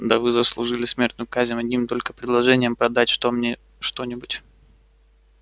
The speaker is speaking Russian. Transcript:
да вы заслужили смертную казнь одним только предложением продать что мне что-нибудь